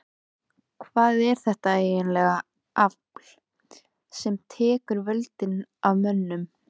Hvað er þetta ægilega afl sem tekur völdin af mönnum?